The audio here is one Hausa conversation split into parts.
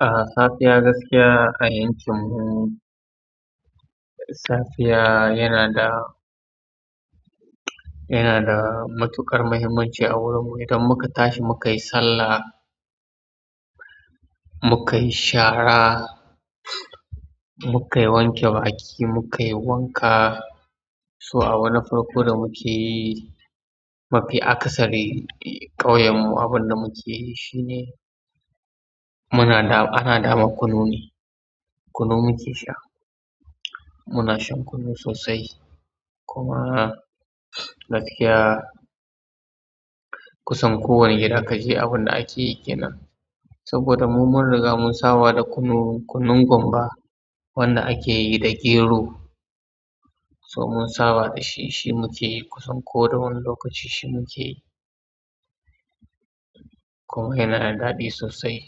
Ah, safiya gaskiya a yankinmu, safiya yana da, yana da matuƙar muhimmanci a wurinmu. Idan muka tashi muka yi sallah, muka yi shara, muka yi wanke baki, muka yi wanka. So, abu na farko da muke yi, mafi akasari ƙauyenmu abin da muke yi shine muna da ana dama kunu ne, kunu muke sha. Muna shan kunu sosai. Kuma gaskiya kusan kowane gida ka je abin da ake yi ke nan. Saboda mu mun riga mun saba da kunu, kunun gumba wanda ake yi da gero. So mun saba da shi, shi muke yi kusan ko da wane lokaci shi muke yi. Kuma yana da daɗi sosai.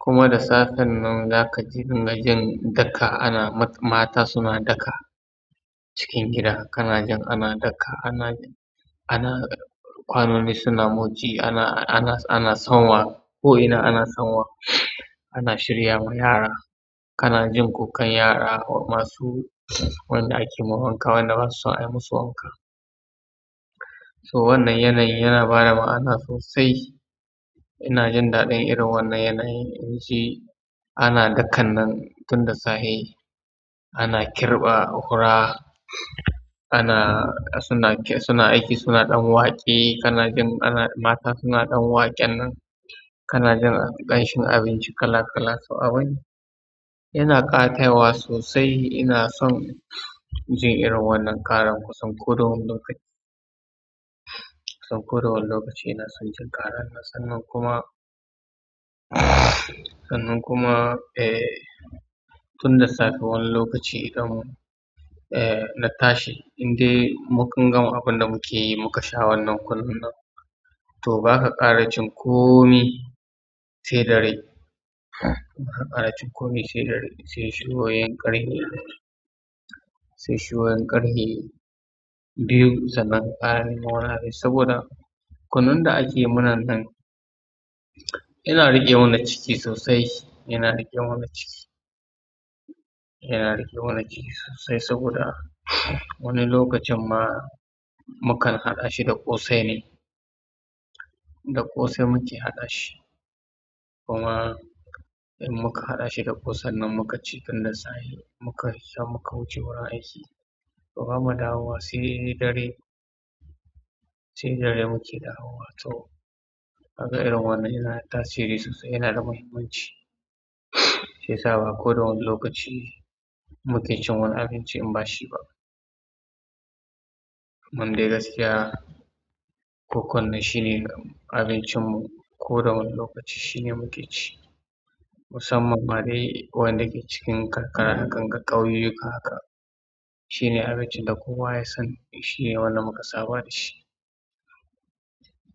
Kuma da safan nan za ka ji ringa jin daka ana mata suna daka cikin gida kana jin ana daka, ana, ana kwanoni suna motsi, ana, ana, ana sanwa, ko'ina ana sanwa, ana shirya ma yara. Kana jin kukan yara masu wanda ake ma wanka, wanda ba su son a yi masu wanka. So wannan yanayi yana ba da ma'ana sosai. Ina jin daɗin irin wannan yanayi. Inji ana dakan nan tun da safe. Ana kirɓa fura, ana, suna aiki suna dan waƙe kana jin ana mata suna ɗan waƙen nan. Kana jin ƙanshin abinci kala kala. So, abun yana ƙatawa sosai. Ina son jin irin wannan ƙaran kusan ko da wane lokaci. Kusan ko da wane lokaci ina son jin ƙaran nan. Sannan kuma, sannan kuma, eh, tun da safe wani lokaci idan mun, eh, na tashi in dai mun gama abin da muke yi muka sha wannan kunun nan. To, ba ka ƙara cin komi sai dare. Ba ka ƙara cin komi sai dare, sai ishin ruwa yankari. Sai shuruwa ƙarfe biyu sannan ƙaran nan wane. Saboda kunun da ake yi muna nan yana riƙe mana ciki sosai. Yana riƙe mana ciki. Yana riƙe wannan ciki sosai saboda wani lokacin ma mukan haɗa shi da ƙosai ne. Da ƙosai muke haɗa shi. Kuma in muka haɗa shi da ƙosai nan muka ci tun da safe muka sha muka wuce wurin aiki. Ba mu dawowa sai dare, sai dare muke da wowa. So, ka ga irin wannan yana da tasiri sosai, yana da muhimmanci. Shiyasa ba ko da wani lokaci muke cin wani abinci in ba shi ba. Mande gaskiya ko kunne shine abincinmu ko da wani lokaci shine muke ci. Musamman ma dai waɗanda ke cikin karkara hakan ga ƙauyuka haka. Shine adalci da kowa ya sani shine wanda muka saba da shi.